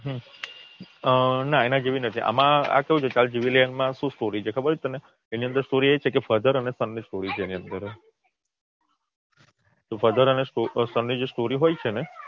અમ ના એના જેવી નથી આમાં કયું છે ચાલ જીવી લઈએ એમાં શું Story છે ખબર છે તને એની અન્દર Story એ છે Father અને Son story છે તો Father અને Son ની જે સ્ટોરી હોય છે ને